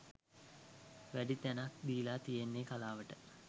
වැඩි තැනක් දීලා තියෙන්නෙ කලාවට.